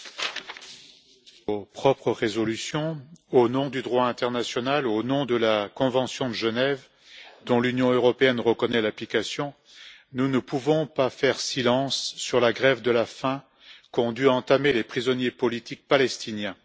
Madame la Présidente, au nom de nos propres résolutions, au nom du droit international, au nom de la convention de Genève, dont l'Union européenne reconnaît l'application, nous ne pouvons pas faire silence sur la grève de la faim qu'ont dû entamer les prisonniers politiques palestiniens.